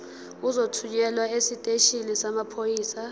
uzothunyelwa esiteshini samaphoyisa